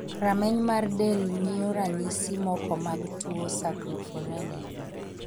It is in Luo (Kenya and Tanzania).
Rameny mar del nyio ranyisi moko mag tuo Saccharopinuria?